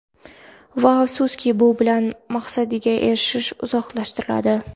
Va afsuski, bu bilan o‘z maqsadiga erishishni uzoqlashtiradi.